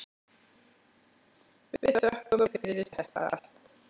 Við þökkum fyrir þetta allt.